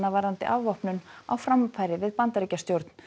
varðandi afvopnun á framfæri við Bandaríkjastjórn